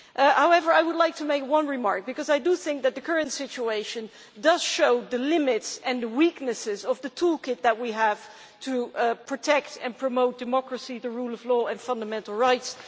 However, I would like to make one remark because I think that the current situation shows the limits and weaknesses of the toolkit that we have to protect and promote democracy, the rule of law, and fundamental rights.